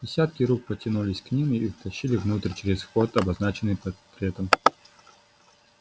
десятки рук потянулись к ним и втащили внутрь через вход обозначенный портретом